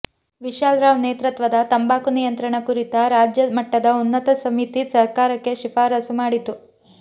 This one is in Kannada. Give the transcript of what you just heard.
ವಿಶಾಲ್ ರಾವ್ ನೇತೃತ್ವದ ತಂಬಾಕು ನಿಯಂತ್ರಣ ಕುರಿತ ರಾಜ್ಯ ಮಟ್ಟದ ಉನ್ನತ ಸಮಿತಿ ಸರ್ಕಾರಕ್ಕೆ ಶಿಫಾರಸು ಮಾಡಿತ್ತು